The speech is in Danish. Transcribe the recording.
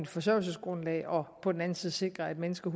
forsørgelsesgrundlag og på den anden side sikre at mennesker